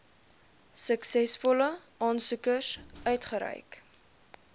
suksesvolle aansoekers uitgereik